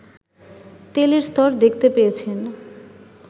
তেলের স্তর দেখতে পেয়েছেন